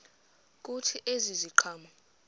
kuthi ezi ziqhamo